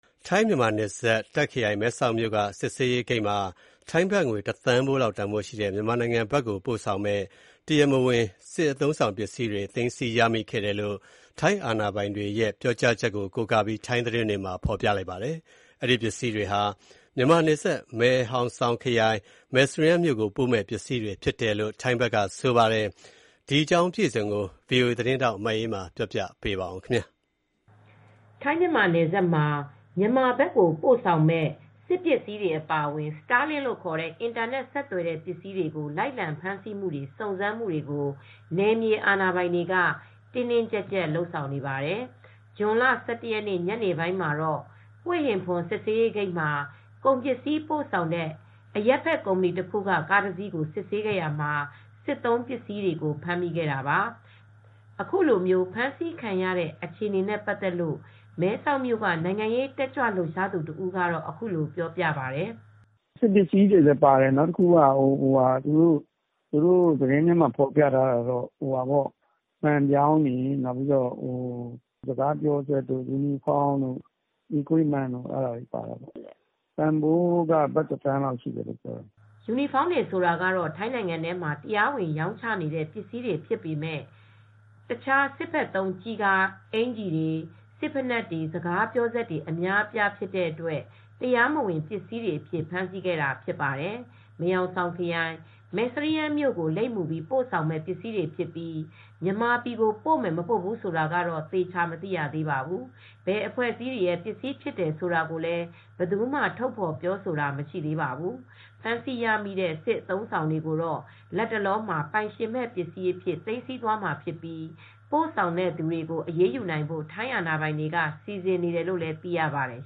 ထိုင်း-မြန်မာနယ်စပ်၊ တာ့ခ်ခရိုင်၊ မဲဆောက်မြို့က စစ်ဆေးရေးဂိတ်မှာ ထိုင်းဘတ်ငွေ ၁ သန်းလောက်တန်ဖိုးရှိတဲ့ မြန်မာနိုင်ငံဘက်ကို ပို့ဆောင်မယ့် တရားမ၀င် စစ်အသုံးအဆောင်ပစ္စည်းတွေ သိမ်းဆည်းရမိခဲ့တယ်လို့ ထိုင်းအာဏာပိုင်တွေရဲ့ ပြောဆိုချက်ကို ကိုးကားပြီး ထိုင်းသတင်းတွေမှာ ဖော်ပြပါတယ်။ အဲဒီ ပစ္စည်းတွေဟာ မြန်မာနယ်စပ် မယ်ဟောင်ဆောင်ခရိုင်၊ မဲစရီးယမ်းမြို့ကို ပို့မယ့်ပစ္စည်းတွေဖြစ်တယ်လို့ ဆိုပါတယ်။ ဒီအကြောင်း ဗွီအိုအေသတင်းထောက် မအေးအေးမာကသတင်းပေးပို့ထားပါတယ်။ ထိုင်းမြန်မာနယ်စပ်မှာ မြန်မာဘက်ကိုပို့ဆောင်မယ့် စစ်ပစ္စည်းတွေ အပါအဝင် စတားလင့်လို့ခေါ်တဲ့ အင်တာနက်ဆက်သွယ်တဲ့ပစ္စည်းတွေကို လိုက်လံဖမ်းဆီးမှုတွေ၊ စုံစမ်းမှုတွေ ကို နယ်မြေအာဏာပိုင်တွေက တင်းတင်းကျပ်ကျပ်လုပ်ဆောင်နေပါတယ်။ ဇွန် ၁၁ ရက် ညနေပိုင်းမှာတော့ ဟွေဟင်ဖွန် စစ်ဆေးဂိတ်မှာ ကုန်ပစည်းပို့ဆောင်တဲ့ အရပ်ဖက်ကုမ္ပဏီတခုက ကားတစီးကို စစ်ဆေးရာမှာ စစ်သုံးပစ္စည်းတွေကိုဖမ်းမိခဲ့တာပါ။ အခုလို ဖမ်းဆီးခံရတဲ့အခြေအနေနဲ့ပတ်သက်လို့ မဲဆောက်မြို့က နိုင်ငံရေးတက်ကြွလှုပ်ရှားသူတဦးကတော့အခုလိုပြောပြပါတယ်။ "စစ်ပစည်းတွေလည်းပါတယ်၊ သတင်းတွေထဲဖော်ပြထားတာကတော့ မှန်ပြောင်းတွေပါတယ်။ စကားပြောစက်တွေ၊ ယူနီဖောင်းတို့၊ စစ်သုံးပစ္စည်း Military equipment တွေပါတယ်။ တန်ဖိုးကတော့ ဘတ်တသန်းဖိုးလောက်ရှိတယ်။" ယူနီဖောင်းတွေ ဆိုတာကတော့ ထိုင်းနိုင်ငံထဲမှာ တရားဝင်ရောင်းချနေတဲ့ ပစ္စည်းတွေဖြစ်ပေမဲံတခြား စစ်ဘက်သုံးကျည်ကာအင်္ကျီတွေ၊ စစ်ဖိနပ်တွေ၊ စကားပြောစက်တွေ အများအပြားဖြစ်တဲ့အတွက် တရားမဝင်ပစ္စည်းတွေအဖြစ် ဖမ်ဆီးခဲ့တာဖြစ်ပါတယ်။ မယ်ဟောင်ဆောင်ခရိုင်၊ မယ်စရီးယန်းမြို့ကို လိပ်မူပြီးပို့ဆောင်မယ့် ပစ္စည်းတွေဖြစ်ပြီး မြန်မာပြည်ကိုပို့မယ် မပို့ဘူးဆိုတာတော့သေချာ မသိရပါဘူး။ ဘယ်အဖွဲ့အစည်းတွေရဲ့ပစ္စည်းတွေဖြစ်တယ်ဆိုတာကိုလည်း ဘယ်သူမှ ထုတ်ဖော်ပြောဆိုတာမရှိသေးပါဘူး။ ဖမ်းဆီးရမိတဲ့ စစ်အသုံးအဆောင်တွေကို လတ်တလောမှာ ပိုင်ရှင်မဲ့ပစ္စည်းအဖြစ် သိမ်းဆည်းသွားမှာဖြစ်ပြီး ပို့ဆောင်တဲ့သူတွေကို အရေးယူနိုင်ဖို့ ထိုင်းအာဏာပိုင်တွေက စီစဉ်နေတယ်လို့သိရပါတယ်